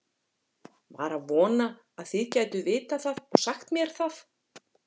Var að vona þið gætuð vitað það og sagt mér það.